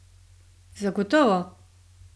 Zagotovo!